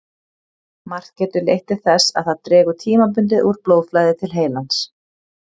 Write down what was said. Margt getur leitt til þess að það dregur tímabundið úr blóðflæði til heilans.